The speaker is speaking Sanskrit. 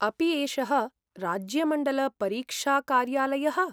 अपि एषः राज्यमण्डलपरीक्षाकार्यालयः?